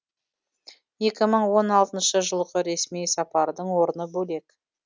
екі мың он алтыншы жылғы ресми сапардың орны бөлек